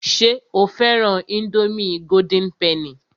Ṣé o fẹ́ran ińdómì golden penny?